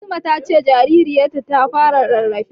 Fatima ta ce jaririyarta ta fara rarrafe.